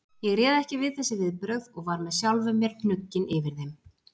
Ég réð ekki við þessi viðbrögð og var með sjálfum mér hnugginn yfir þeim.